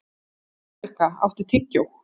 Sigurhelga, áttu tyggjó?